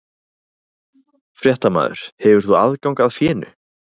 Fréttamaður: Hefur þú aðgang að fénu?